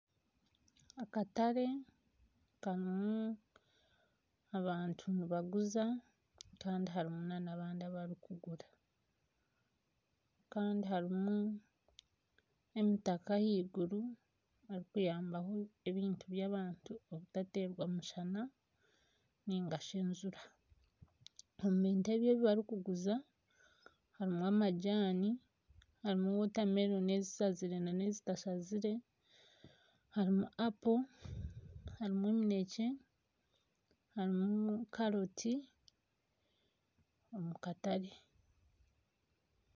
Akatare karimu abantu nibaguza kandi harimu n'abandi abarikugura. kandi hariho emitaka ahaigru erikuyambaho ebintu by'abantu okutateerwa mushana nainga shi enjura. Omu bintu ebi barikuguza harimu amajaani harimu wotameloni ezishazire n'ezitashazire, harimu apo, harimu eminekye, harimu karoti omu katare.